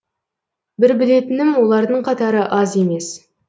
бір білетінім олардың қатары аз емес